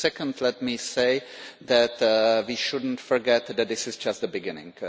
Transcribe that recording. Second, let me say that we should not forget that this is just the beginning.